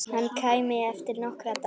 Hann kæmi eftir nokkra daga.